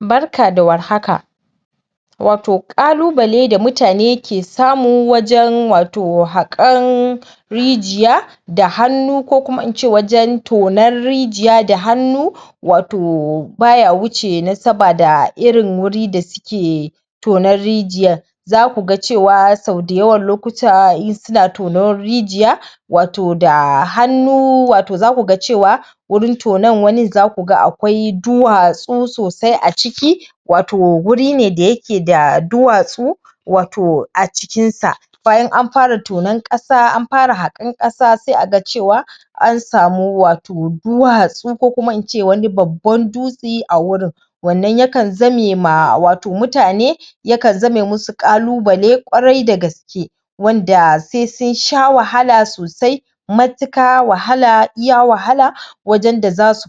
Barka da warhaka. Watau ƙalubale da mutane ke samu wajen watau haƙan rijiya da hannu ko kuma in ce wajen tonan rijiya da hannu watau baya wuce nasaba da irin wuri da suke tonan rijiyar. Zaku ga cewa sau dayawan lokuta in suna tonan rijiya watau da hannu watau zaku ga cewa wurin tonan wanin zaku ga duwatsu sosai a ciki watau wuri ne dake da duwatsu watau a cikin sa bayan an fara tonan ƙasa an fara haƙan ƙasa sai a ga cewa an samu watau duwatsu ko kuma in ce wani babban dutse a wurin. Wannan yaka zame? musu ƙalubale ƙwarai da gaske wanda sai sun sha wahala sosai matuƙa wahala iya wahala wajen?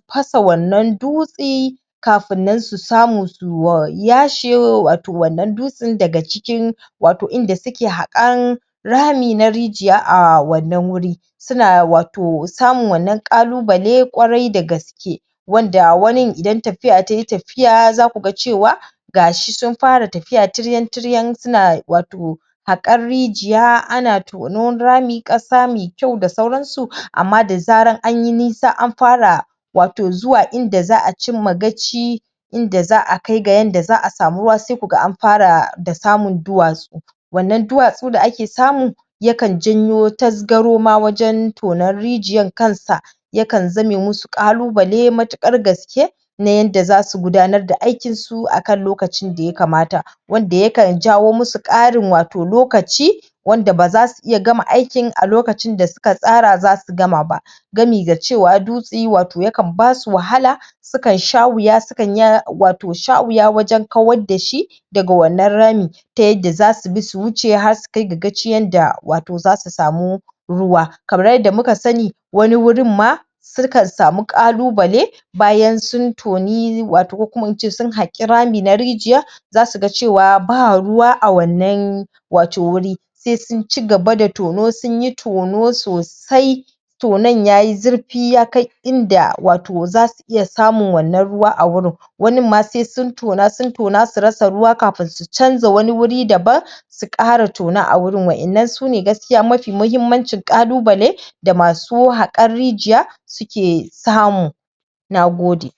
fasa wannan dutse kafin nan su samu su yashe watau wannan dusten daga cikin watau wurin da suke haƙan rami na rijiya a wannan wuri. Suna watau samun wannan ƙalubale ƙwarai da gaske wanda wanin idan tafiya tayi tafiya zaku ga cewa gashi sun fara tafiya tiryan-tiryan watau haƙan rijiya ana tonan rami ƙasa mai kyau da dai sauransu amma da zaran anyi nisa an fara watau zuwa inda za a cimma gaci inda za a kai ga yadda za a samu ruwa sai ku ga an fara da samun duwatsu. Wanna duwatsu da ake samu yakan janyo tazgaro ma wajen tonan rijiyan kansa yakan zame musu ƙalubale matuƙar gaske na yadda zasu gudananr da aikinsu a kan lokacin da ya kamata wanda yakan jawo musu ƙarin watau lokaci wanda baza su iya gama aikin a lokacin da suka tsara zasu gama ba gami ga cewa dutse yana basu wahala sukan sha wuya? wajen kawar da shi daga wannan rami ta yadda zasu bi su wuce har su kai gaci yadda watau zasu samu ruwa. Kamar yadda muka sani wani wurin ma akan samu ƙalubale bayan sun toni ko sun haƙi rami na rijiya, zasu ga cewa ba ruwa a wannan watau wuri sai sun cigaba da tono sunyi tono sosai tonon yayi zurfi inda watau zasu iya samun wannan ruwa a wurin. Wanin ma sai sun tona sun tona su rasa ruwa sai sun canza wani wurin daban sun ƙara tona a wurin. Wannan sune gaskiya mafi mahummancin ƙalubale da masu haƙan rijiya suke samu. Nagode.